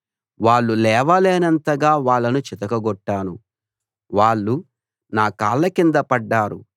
వాళ్ళు లేవలేనంతగా వాళ్ళను చితకగొట్టాను వాళ్ళు నా కాళ్ళ కింద పడ్డారు